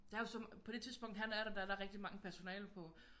Der er jo så på det tidspunkt han er der der er der rigtig mange personale på